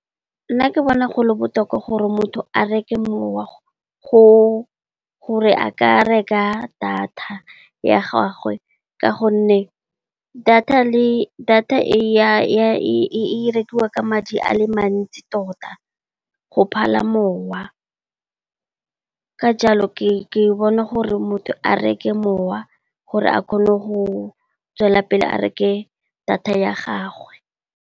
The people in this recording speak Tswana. Nna ke bona go le botoka gore motho a reke mowa gona le gore a reke data ya gagwe ka gonne, data e rekiwa ka madi a le mantsi tota go phala mowa ka jalo, ke bona gore motho a reke mowa gore a kgone go tswelela pele a reke data ya gagwe.